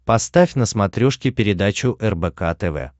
поставь на смотрешке передачу рбк тв